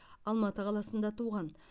алматы қаласында туған